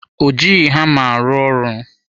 Ọ jighị hama rụọ ọrụ.